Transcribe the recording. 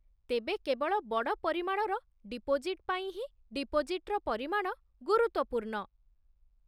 ତେବେ, କେବଳ ବଡ଼ ପରିମାଣର ଡିପୋଜିଟ୍ ପାଇଁ ହିଁ ଡିପୋଜିଟ୍‌ର ପରିମାଣ ଗୁରୁତ୍ୱପୂର୍ଣ୍ଣ